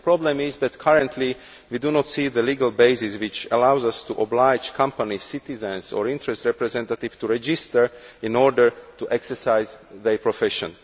The problem is that currently we do not see the legal basis that allows us to oblige companies, citizens or interest representatives to register in order to exercise their profession.